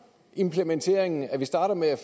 implementeringen at vi starter med at